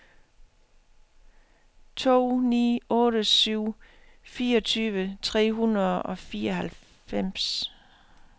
to ni otte syv fireogtyve tre hundrede og fireoghalvfems